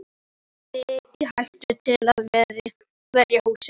Lagðirðu þig í hættu til að verja húsið.